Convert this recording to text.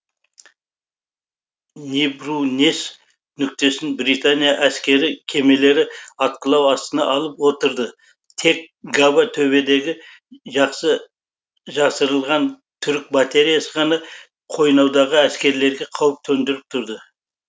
нибрунес нүктесін британия әскери кемелері атқылау астына алып отырды тек габа төбедегі жақсы жасырылған түрік батереясы ғана қойнаудағы әскерлерге қауіп төндіріп тұрды